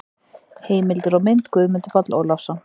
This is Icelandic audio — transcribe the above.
Heimildir og mynd: Guðmundur Páll Ólafsson.